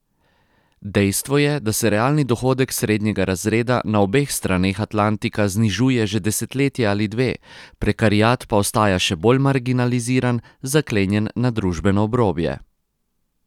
Dejstvo je, da se realni dohodek srednjega razreda na obeh straneh Atlantika znižuje že desetletje ali dve, prekariat pa ostaja še bolj marginaliziran, zaklenjen na družbeno obrobje.